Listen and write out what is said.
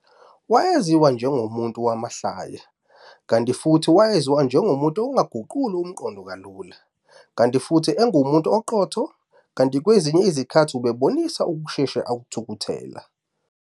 Waziwa njengomuntu wamahlaya, kanti futhi wayaziwa njengomuntu ongaguquli umqondo kalula, kanti futhi engumuntu oqotho, kanti kwezinye izikhathi ubebonisa ukusheshe athukuthele.